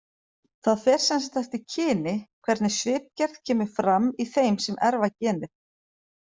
Það fer sem sagt eftir kyni hvernig svipgerð kemur fram í þeim sem erfa genið.